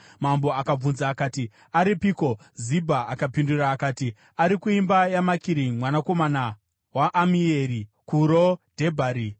Mambo akabvunza akati, “Aripiko?” Zibha akapindura akati, “Ari kuimba yaMakiri mwanakomana waAmieri kuRo Dhebhari.”